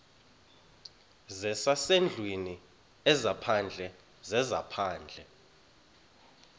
zezasendlwini ezaphandle zezaphandle